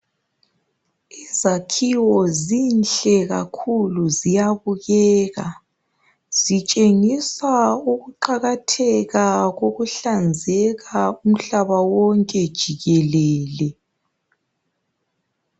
Izakhiwo zinhle kakhulu ziyabukeka. Zitshengisa ukuqakatheka kokuhlanzeka umhlaba wonke jikelele.